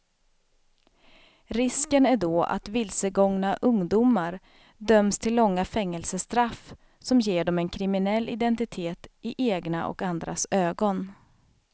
Risken är då att vilsegångna ungdomar döms till långa fängelsestraff som ger dem en kriminell identitet i egna och andras ögon.